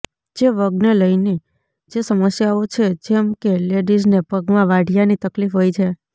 જે વગને લઇને જે સમસ્યાઓ છે જેમ કે લેડીઝને પગમાં વાઢીયાની તકલીફ હોય છે